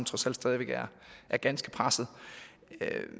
trods alt stadig væk er ganske presset